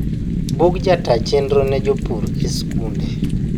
bug jataa chenro ne jopur e skunde